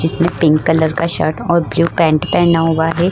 इसने pink colour shirt और blue pant पहना हुआ है।